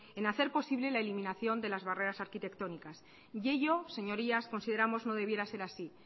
en hacer posible la eliminación de las barreras arquitectónicas y ello señorías consideramos no debiera ser así